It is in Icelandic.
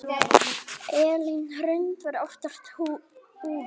Elín Hrund var oftast úfin.